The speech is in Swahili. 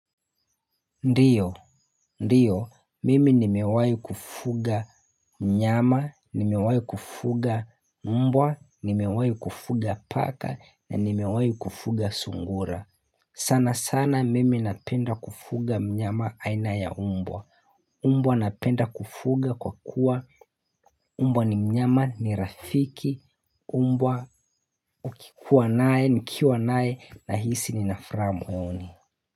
Ndiyo, ndiyo, mimi nimewahi kufuga mnyama, nimewahi kufuga mmbwa, nimewahi kufuga paka, na nimewahi kufuga sungura. Sana sana mimi napenda kufuga mnyama aina ya mbwa. Mbwa napenda kufuga kwa kuwa, mbwa ni mnyama ni rafiki, mbwa ukikuwa nae, nikiwa nae, nahisi ni nafuraha moyoni.